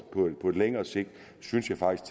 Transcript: på længere sigt synes jeg faktisk